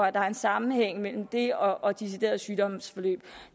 at der er en sammenhæng mellem det og og deciderede sygdomsforløb